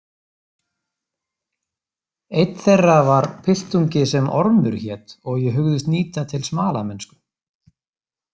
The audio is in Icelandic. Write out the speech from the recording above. Einn þeirra var piltungi sem Ormur hét og ég hugðist nýta til smalamennsku.